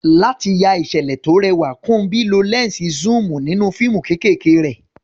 Láti ya ìṣẹ̀lẹ̀ tó rẹwà, Kunbi lo lẹ́ńsì zoom nínú fíìmù kéékèèké rẹ̀.